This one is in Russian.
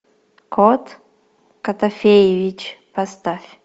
кот котофеевич поставь